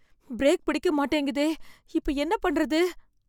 Break பிடிக்க மாட்டேங்குதே, இப்ப என்ன பண்றது?